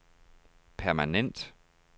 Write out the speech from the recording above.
permanent